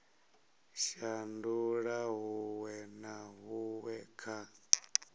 shandula huṅwe na huṅwe kha